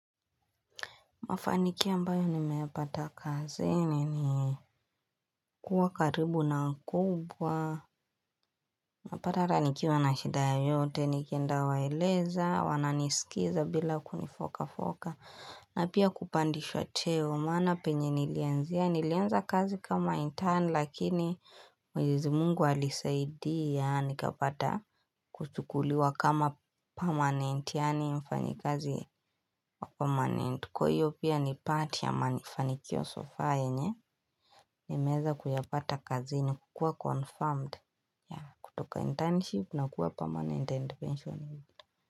Mafanikio ambayo nimeyapata kazini ni kuwa karibu na mkubwa. Napata ata nikiwa na shida yoyote, nikienda waeleza, wananisikiza bila kunifoka foka. Na pia kupandishwa cheo maana penye nilianzia, nillianza kazi kama intern lakini mwenyezi mungu alisaidia nikapata kuchukuliwa kama permanent yaani mfanyikazi permanent. Kwa hiyo ni part ya mafanikio so far yenye nimeweza kuyapata kazini kukuwa confirmed. Kutoka internship na kuwa permanent and pensionate.